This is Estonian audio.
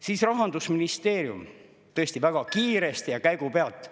Siis Rahandusministeerium tõesti väga kiiresti ja käigu pealt …